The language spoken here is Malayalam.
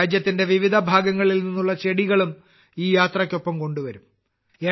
രാജ്യത്തിന്റെ വിവിധ ഭാഗങ്ങളിൽ നിന്നുള്ള ചെടികളും ഈ യാത്രയ്ക്കൊപ്പം കൊണ്ടുവരും